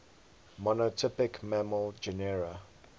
monotypic mammal genera